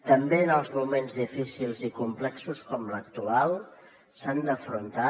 també els moments difícils i complexos com l’actual s’han d’afrontar